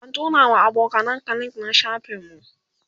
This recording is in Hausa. ka turawa abokanan ka link na shafin mu